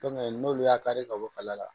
n'olu y'a kari ka bɔ kala la